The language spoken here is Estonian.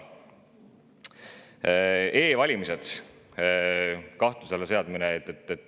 E‑valimiste kahtluse alla seadmine.